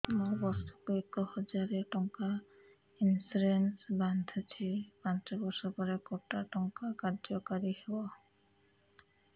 ମୁ ବର୍ଷ କୁ ଏକ ହଜାରେ ଟଙ୍କା ଇନ୍ସୁରେନ୍ସ ବାନ୍ଧୁଛି ପାଞ୍ଚ ବର୍ଷ ପରେ କଟା ଟଙ୍କା କାର୍ଯ୍ୟ କାରି ହେବ